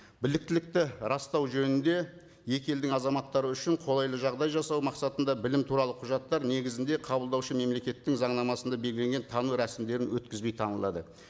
біліктілікті растау жөнінде екі елдің азаматтары үшін қолайлы жағдай жасау мақсатында білім туралы құжаттар негізінде қабылдаушы мемлекеттің заңнамасында белгіленген тану рәсімдерін өткізбей танылады